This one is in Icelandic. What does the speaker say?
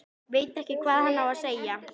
Veit ekki hvað hann á að segja.